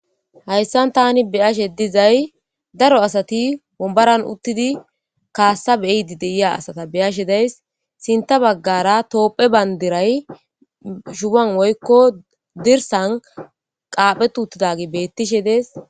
Hayssan tani beyashe dizay daro asati bombaran uttidi kaassa beeydi deyiya asata beyashe days sinta baggara toophe bandiray shuban woykko dirsan qaaphe tuuttidagi beettishe dees.